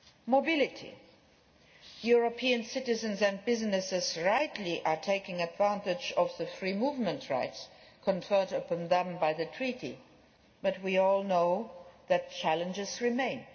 Mobility EU citizens and businesses are rightly taking advantage of the free movement rights conferred upon them by the Treaty but we all know that challenges remain.